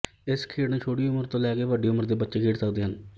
ਇਸ ਖੇਡ ਨੂੰ ਛੋਟੀ ਉਮਰ ਤੋਂ ਲੈਕੇ ਵੱਡੀ ਉਮਰ ਤੱਕ ਦੇ ਬੱਚੇ ਖੇਡ ਸਕਦੇ ਹਨ